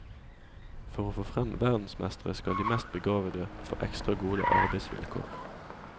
For å få frem verdensmestre skal de mest begavede få ekstra gode arbeidsvilkår.